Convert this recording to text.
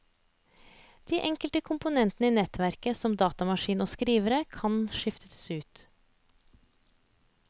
De enkelte komponenter i nettverket, som datamaskiner og skrivere, kan skiftes ut.